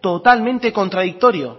totalmente contradictorio